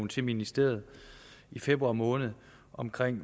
til ministeriet i februar måned om